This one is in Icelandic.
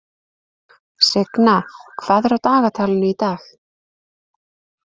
Signa, hvað er á dagatalinu í dag?